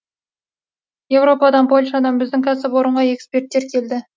еуропадан польшадан біздің кәсіпорынға эксперттер келді